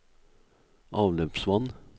avløpsvann